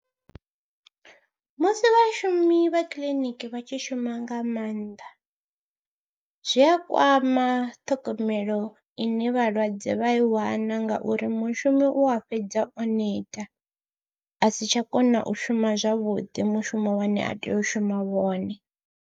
Musi vhashumi vha kiḽiniki vha tshi shuma nga maanḓa zwi a kwama ṱhogomelo ine vhalwadze vha i wana ngauri mushumi u a fhedza o neta a si tsha kona u shuma zwavhuḓi mushumo une a tea u shuma wone.